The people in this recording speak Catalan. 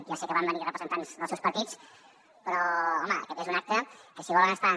ja sé que van venir representants dels seus partits però home aquest és un acte que si volen estar